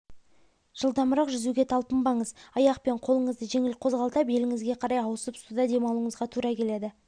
жылдамырақ жүзуге талпынбаңыз аяқ пен қолыңызды жеңіл қозғалта беліңізге қарай ауысып суда демалуыңызға тура келеді